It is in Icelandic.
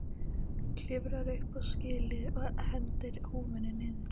Klifrar upp á skýlið og hendir húfunni niður.